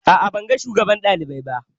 A'a ban ga shugaban ɗalibai ba